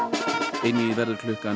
einvígið verður klukkan